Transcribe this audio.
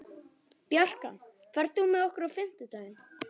Bjarkan, ferð þú með okkur á fimmtudaginn?